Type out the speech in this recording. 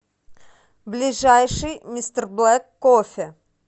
ближайший мистерблэк кофе